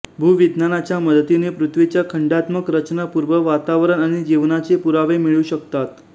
भुविज्ञानाच्या मदतीने पृथ्वीच्या खंडात्मक रचना पुर्व वातावरण आणि जिवनाचे पुरावे मिळू शकतात